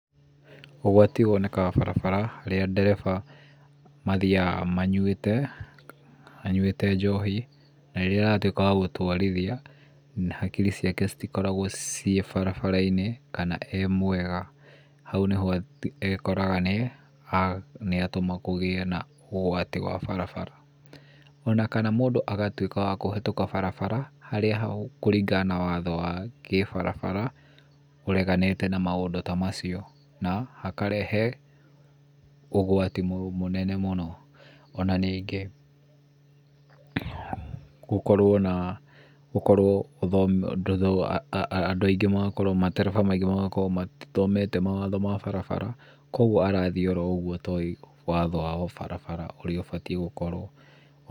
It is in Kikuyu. Ũgwati wonekaga barabara , rĩrĩa ndereba mathiaga manyuĩte njohi, na rĩrĩa aratuĩka wa gũtwarithia, hakiri ciake itikoragwo barabara-inĩ, kana e-mwega. Hau nĩho ekoraga nĩ atũma kũgĩe na ũgwati wa barabara. Ona kana mũndũ agatũĩka wa kũhetũka barabara harĩa kũringana na watho wa kĩbarabara ũreganĩte na maũndũ ta macio, ũkarehe ũgwati mũnene mũno. Onanĩngĩ gũkorwo na andũ, matereba maingĩ matithomete mawatho ma bara, koguo arathiĩ oũguo atoĩ watho wa ũbarabara ũrĩa ũbatiĩ gũkorwo.